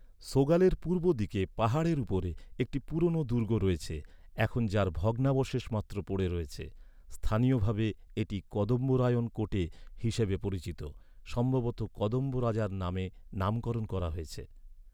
সোগালের পূর্ব দিকে পাহাড়ের উপরে একটি পুরনো দুর্গ রয়েছে, এখন যার ভগ্নাবশেষ মাত্র পড়ে রয়েছে; স্থানীয়ভাবে এটি কদম্বরায়ণ কোটে হিসাবে পরিচিত, সম্ভবত কদম্ব রাজার নামে নামকরণ করা হয়েছে।